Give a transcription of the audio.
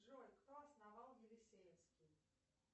джой кто основал елисеевский